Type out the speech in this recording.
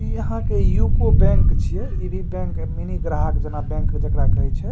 इ यहाँ के यूको बैंक छिये इ भी बैंक मिनी ग्राहक जना बैंक जेकरा कही छै।